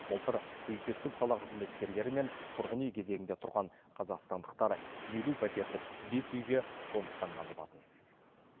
былтыр бюджеттік сала қызметкерлері мен тұрғын үй кезегінде тұрған қазақстандықтар елу пәтерлік бес үйге қоныстанған болатын